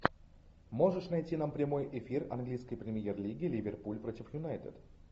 можешь найти нам прямой эфир английской премьер лиги ливерпуль против юнайтед